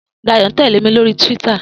Dayo n tèlé mi lóri túwìtá